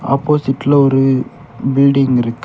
ஆப்போசிட்ல ஒரு பில்டிங் இருக்கு.